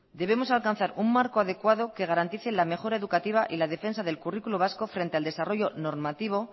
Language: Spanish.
debemos alcanzar un marco adecuado que garantice la mejora educativa y la defensa del currículo vasco frente al desarrollo normativo